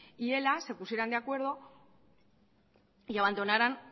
y ela se pusieran de acuerdo y abandonaran